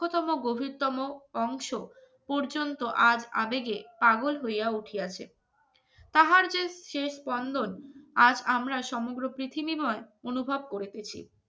গভীরতম অংশ পর্যন্ত আজ আবেগে পাগল হইয়া উঠে আসে তাহার যে শেষ স্পন্দন আর আমরা সমগ্র পৃথিবীময় অনুভব করিতেছি